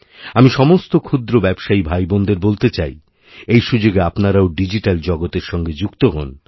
আমি সমস্ত ক্ষুদ্রব্যবসায়ী ভাইবোনদের বলতে চাই এই সুযোগে আপনারাও ডিজিট্যাল জগতে সঙ্গে যুক্ত হন